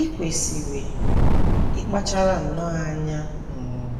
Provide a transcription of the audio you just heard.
I kwesịrị ịkpachara nnọọ anya um